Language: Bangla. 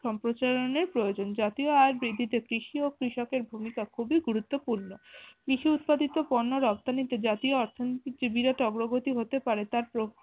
সম্প্রচারণের প্রয়োজন জাতীয় আয় বৃদ্ধিতে কৃষি ও কৃষক এর ভূমিকা খুবি গুরুত্বপূর্ণ। কৃষি উৎপাদিত পণ্য রপ্তানিতে জাতীয় অর্থনীতে বিরাট অগ্রগতি হতে পারে তার প্ৰ